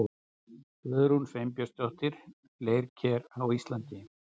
Guðrún Sveinbjarnardóttir, Leirker á Íslandi.